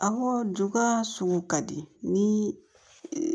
Awɔ duba sugu ka di ni